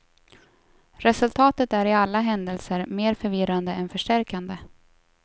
Resultatet är i alla händelser mer förvirrande än förstärkande.